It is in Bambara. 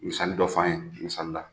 Misali dɔ f'an ye, misalila